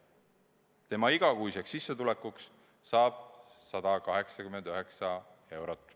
Tema igakuiseks sissetulekuks saab 189 eurot.